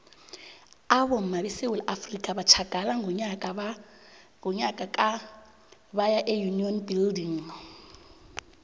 abomma besewula afrika batjhagala ngonyaka ka baya eunion building